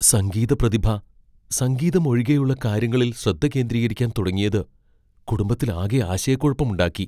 സംഗീത പ്രതിഭ സംഗീതം ഒഴികെയുള്ള കാര്യങ്ങളിൽ ശ്രദ്ധ കേന്ദ്രീകരിക്കാൻ തുടങ്ങിയത് കുടുംബത്തിലാകെ ആശയക്കുഴപ്പമുണ്ടാക്കി.